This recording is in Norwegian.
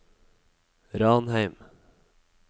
Ranheim